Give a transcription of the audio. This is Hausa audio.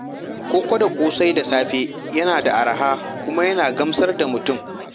Koko da ƙosai da safe yana da arha kuma yana gamsar da mutum.